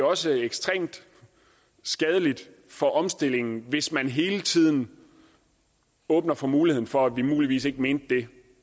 også ekstremt skadeligt for omstillingen hvis man hele tiden åbner for muligheden for at vi muligvis ikke mente det